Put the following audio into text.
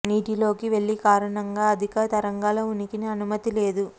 నీటి లోకి వెళ్ళి కారణంగా అధిక తరంగాల ఉనికిని అనుమతి లేదు